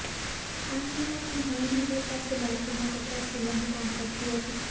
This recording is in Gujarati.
આ મહિલા પણ ન્યાયમંદિર પાસે બાળકોના કપડા સીવવાનું કામ કરતી હતી